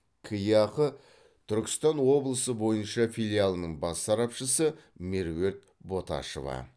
кеақ түркістан облысы бойынша филиалының бас сарапшысы меруерт боташева